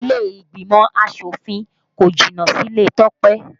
Ilé ìgbìmọ̀ asòfin kò jìnnà síle Tope